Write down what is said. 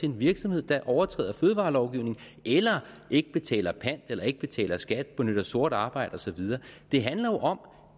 en virksomhed der overtræder fødevarelovgivningen eller ikke betaler pant eller ikke betaler skat benytter sort arbejde og så videre det handler jo om